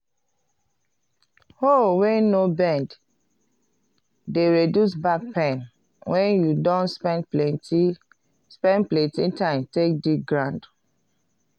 hoe wey no bend de reduce back pain wen you don spend plenty spend plenty time take dig ground.